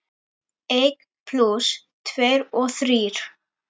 Einn plús tveir eru þrír.